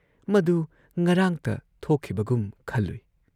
ꯃꯗꯨ ꯉꯔꯥꯡꯇ ꯊꯣꯛꯈꯤꯕꯒꯨꯝ ꯈꯜꯂꯨꯏ ꯫